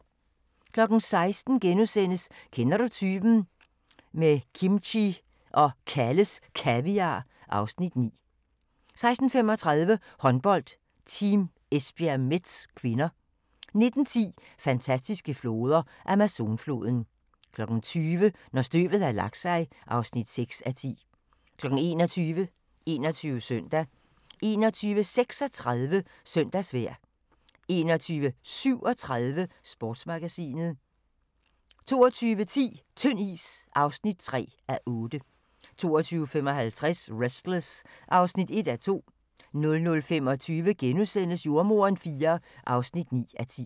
16:00: Kender du typen? - med kimchi og Kalles Kaviar (Afs. 9)* 16:35: Håndbold: Team Esbjerg-Metz (k) 19:10: Fantastiske floder: Amazonfloden 20:00: Når støvet har lagt sig (6:10) 21:00: 21 Søndag 21:36: Søndagsvejr 21:37: Sportsmagasinet 22:10: Tynd is (3:8) 22:55: Restless (1:2) 00:25: Jordemoderen IV (9:10)*